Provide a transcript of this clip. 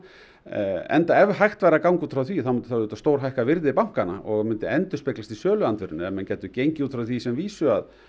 enda ef hægt væri að ganga út frá því þá myndi það auðvitað stórhækka virði bankanna og myndi endurspeglast í söluandvirðinu ef menn gætu gengið út frá því sem vísu að